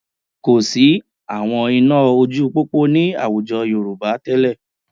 Kò sí àwọn iná ojú pópó ní àwùjọ Yorùbá tẹ́lẹ̀